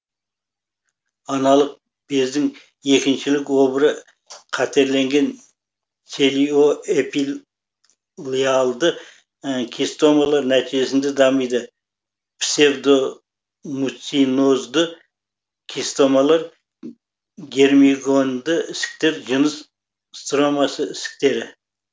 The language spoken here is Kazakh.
аналық бездің екіншілік обыры қатерленген целиоэпителиалды кистомалар нәтижесінде дамиды псевдомуцинозды кистомалар герминогенді ісіктер жыныс стромасының ісіктері